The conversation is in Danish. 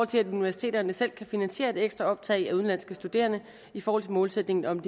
til at universiteterne selv kan finansiere et ekstra optag af udenlandske studerende i forhold til målsætningen om